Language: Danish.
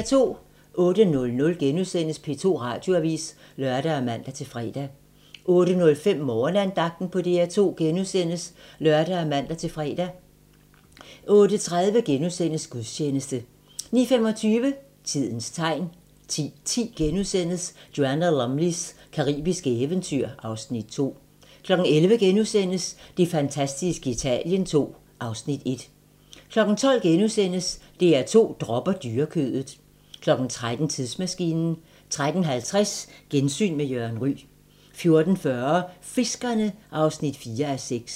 08:00: P2 Radioavis *(lør og man-fre) 08:05: Morgenandagten på DR2 *(lør og man-fre) 08:30: Gudstjeneste * 09:25: Tidens tegn 10:10: Joanna Lumleys caribiske eventyr (Afs. 2)* 11:00: Det fantastiske Italien II (Afs. 1)* 12:00: DR2 dropper dyrekødet * 13:00: Tidsmaskinen 13:50: Gensyn med Jørgen Ryg 14:40: Fiskerne (4:6)